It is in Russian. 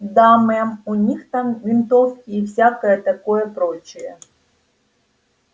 да мэм у них там винтовки и всякое такое прочее